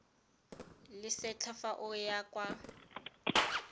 lesetlha fa o ya kwa